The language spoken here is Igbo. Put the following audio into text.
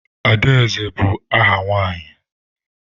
Adaeze bụ áhà nwaanyị.